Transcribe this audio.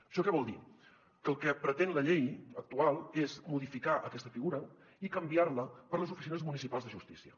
això què vol dir que el que pretén la llei actual és modificar aquesta figura i canviar la per les oficines municipals de justícia